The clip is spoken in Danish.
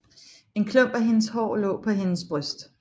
En klump af hendes hår lå på hendes bryst